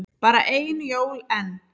Bara ein jól enn.